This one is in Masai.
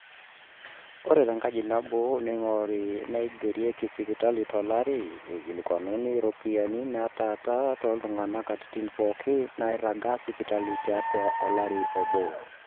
ore tenkaji nabo neing'ori naairagieki sipitali tolari, eikilikuanuni iropiyiani naatalaa oltung'ani katitin pooki naairaga sipitali tiatua olari obo